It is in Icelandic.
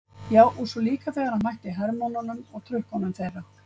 Já, og svo líka þegar hann mætti hermönnunum og trukkunum þeirra.